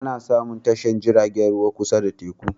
Ana samun tashar jiragen ruwa kusa da teku